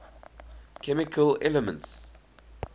chemical elements